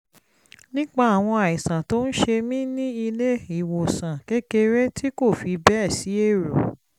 nípa àwọn àìsàn tó ń ṣe mí ní ilé-ìwòsàn kékeré tí kò fi bẹ́ẹ̀ sí èrò